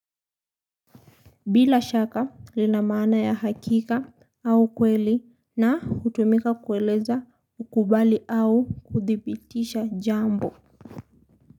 Bila shaka lina maana ya hakika au kweli na hutumika kueleza kukubali au kuthibitisha jambo.